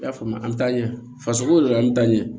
I y'a faamu a an taa ɲɛ fasoko yɛrɛ an bɛ taa ɲɛ